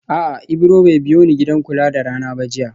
A'a Ibro bai biyoni gidan kula da rana ba jiya